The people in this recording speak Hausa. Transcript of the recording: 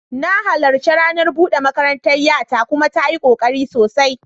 Na halarci ranar bude makarantar 'yata kuma ta yi kokari sosai.